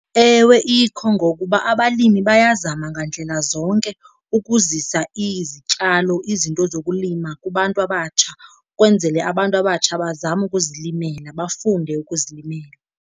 Ewe ikho, ngokuba abalimi bayazama ngandlela zonke ukuzisa izityalo, izinto zokulima kubantu abatsha ukwenzele abantu abatsha bazame ukuzilimela, bafunde ukuzilimela.